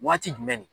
Waati jumɛn ni